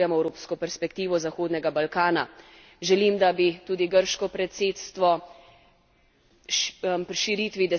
Želim, da bi tudi grško predsedstvo širitvi deset let po vrhu v Solunu dalo nov zagon.